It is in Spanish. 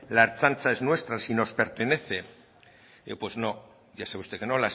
la ertzaintza es nuestra si nos pertenece pues no ya sabe usted que no